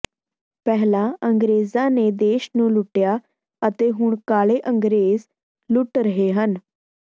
ਪਹਿਲਾਂ ਅੰਗਰੇਜਾਂ ਨੇ ਦੇਸ਼ ਨੂੰ ਲੁੱਟਿਆ ਅਤੇ ਹੁਣ ਕਾਲੇ ਅੰਗਰੇਜ ਲੁੱਟ ਰਹੇ ਹਨ